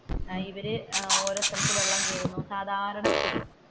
ഇവർക്ക് ഓരോരുത്തർക്ക് വെള്ളം കേറുന്നു സാധാരണ സ്ഥിതി.